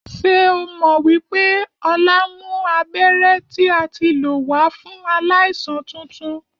Ṣé o mọ wípé Ọlá mú abéré tí a tí lò wà fún aláìsàn tuntun